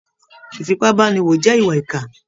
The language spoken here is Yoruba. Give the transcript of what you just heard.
Ìfipábánilò jẹ́ ìwà ìkà